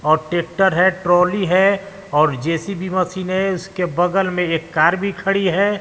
और ट्रैक्टर है ट्रॉली है और जे_सी_बी मशीन है उसके बगल में एक कार भी खड़ी है।